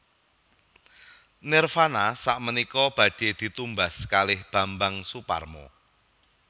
Nirvana sakmenika badhe ditumbas kalih Bambang Soeparmo